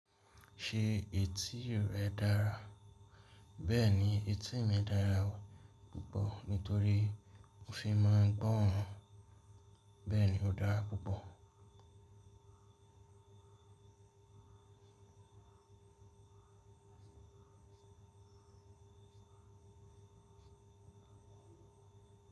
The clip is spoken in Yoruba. Ṣe eti rẹ dara? Bẹ́ẹ̀ni, eti mi dára púpọ̀ nítorí mo fi máa ń gbọ́ ran. Bẹ́ẹ̀ ni, ó dára púpọ̀.